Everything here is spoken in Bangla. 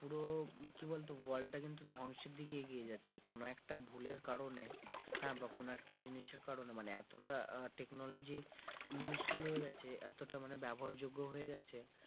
পুরো কি বলতো world টা কিন্তু ধ্বংসের দিকে এগিয়ে যাচ্ছে, কোন একটা ভুলের কারণে হ্যাঁ বা কোন একটা জিনিসের কারণে মানে এতটা technology useful হয়ে গেছে, এতটা মানে ব্যবহার যোগ্য হয়ে গেছে,